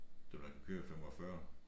Dem der kan køre 45